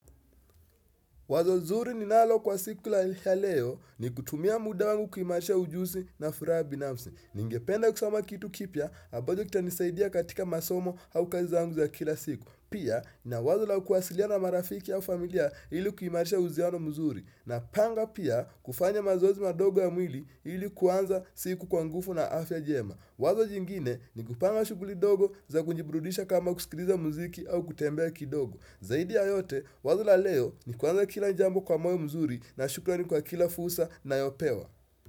Wazo zuri ninalo kwa siku ya leo ni kutumia muda wangu kuhimarisha ujusi na furaha binafsi. Ningependa kusoma kitu kipya ambajo kitanisaidia katika masomo au kazi zangu za kila siku. Pia na wazo la kuwasiliana na marafiki au familia ili kuhimarisha uhuziano muzuri. Napanga pia kufanya mazoezi madogo ya mwili ili kuanza siku kwa ngufu na afya jema. Wazo jingine ni kupanga shuguli dogo za kujiburudisha kama kusikiriza muziki au kutembea kidogo. Zaidi ya yote, wazo la leo ni kuanza kila jambo kwa moyo mzuri na shukrani kwa kila fusa nayopewa.